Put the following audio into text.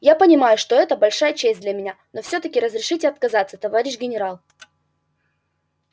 я понимаю что это большая честь для меня но все таки разрешите отказаться товарищ генерал